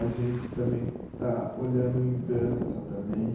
A gente também está olhando em dança também.